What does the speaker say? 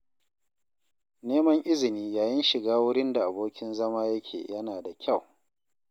Neman izini yayin shiga wurin da abokin zama yake yana da kyau